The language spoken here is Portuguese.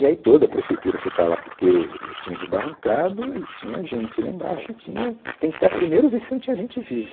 E aí toda a prefeitura foi para lá porque tinha desbarrancado e tinha gente lá embaixo e tinha tentar primeiro ver se não tinha gente viva.